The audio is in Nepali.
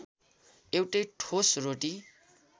एउटै ठोस रोटी